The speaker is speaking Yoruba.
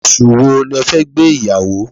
Oṣù wo le fẹ́ gbé ìyàwó?